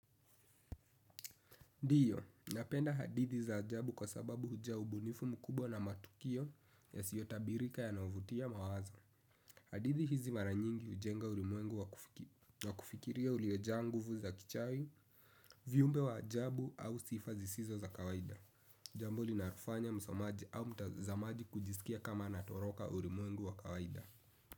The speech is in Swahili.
Ndiyo, napenda hadithi za ajabu kwa sababu huja ubunifu mkubwa na matukio yasiyotabirika yanayovutia mawazo. Hadithi hizi mara nyingi hujenga ulimwengu wa kufikiria uliojaa nguvu za kichawi, viumbe wa ajabu au sifa zisizo za kawaida. Jambo linalofanya msomaji au mtazamaji kujisikia kama natoroka ulimwengu wa kawaida.